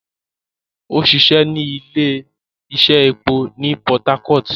O ṣiṣẹ ni ile-iṣẹ épo ni Port Harcourt